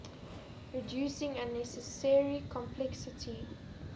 reducing unnecessary complexity